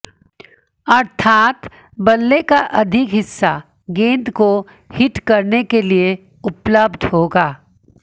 अर्थात बल्ले का अधिक हिस्सा गेंद को हिट करने के लिए उपलब्ध होगा